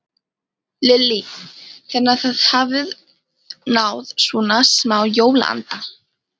Lillý: Þannig að þið hafið náð svona smá jólaanda?